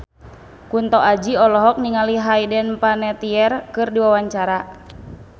Kunto Aji olohok ningali Hayden Panettiere keur diwawancara